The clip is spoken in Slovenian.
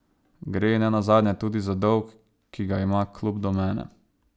Gre nenazadnje tudi za dolg, ki ga ima klub do mene.